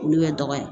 Olu bɛ dɔgɔya